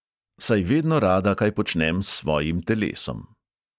Saj vedno rada kaj počnem s svojim telesom.